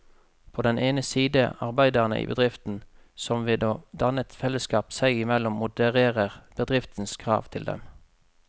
På den ene side arbeiderne i bedriften, som ved å danne et fellesskap seg imellom modererer bedriftens krav til dem.